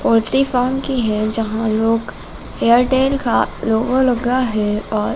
poultry farm की है जहां लोग एयरटेल का लोगो लगा है और--